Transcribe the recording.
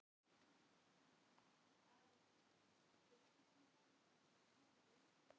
Blævar, hvað er á dagatalinu í dag?